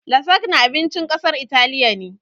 "Lasagna" abincin ƙasar italiya ne